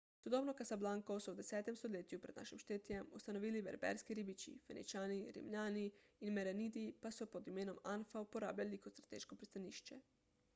sodobno casablanco so v 10 stoletju pr n š ustanovili berberski ribiči feničani rimljani in merenidi pa so jo pod imenom anfa uporabljali kot strateško pristanišče